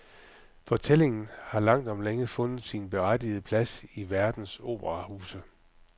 Fortællingen har langt om længe fundet sin berettigede plads i verdens operahuse.